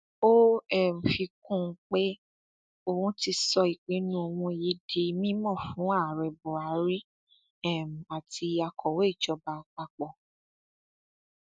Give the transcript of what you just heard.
ó um fi kún un pé òun ti sọ ìpinnu òun yìí di mímọ fún ààrẹ buhari um àti akọwé ìjọba àpapọ